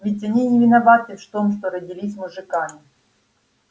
ведь они не виноваты в том что родились мужиками